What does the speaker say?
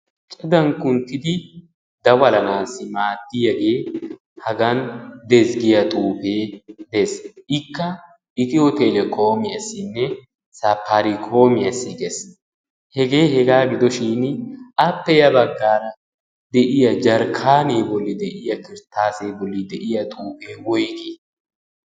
cadankkunttidi dawalanaassi maattiyaagee hagan dezggiyaa xuufee dees ikka ikiyotelekoomiyaasinne saparikoomiyaasi gees hegee hegaa gidoshin appe ya baggaara de'iya jarkkaanee bolli de'iya kiristtaasee bolli de'iya xuufee woigii?